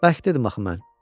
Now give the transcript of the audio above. Bəlkə dedim axı mən.